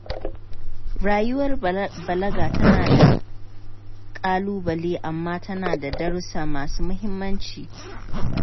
Rayuwar balaga tana da ƙalubale amma tana da darussa masu muhimmanci.